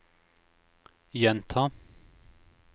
gjenta